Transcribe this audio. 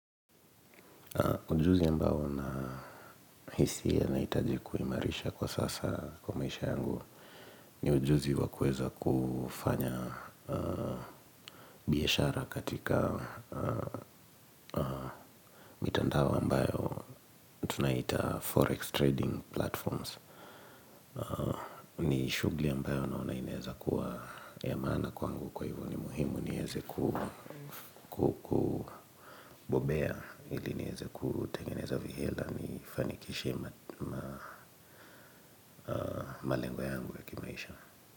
Ujuzi ambao nahisi yanahitaji kuimarisha kwa sasa kwa maisha yangu ni ujuzi wa kuweza kufanya biashara katika mitandao ambayo tunaita Forex Trading Platforms. Ni shughuli ambayo naona inaeza kuwa ya maana kwangu kwa hivo ni muhimu nieze kubobea ili niweze kutengeneza vihela nifanikishe malengo yangu ya kimaisha.